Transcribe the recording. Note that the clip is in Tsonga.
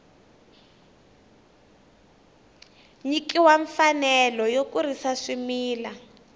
nyikiwa mfanelo yo kurisa swimila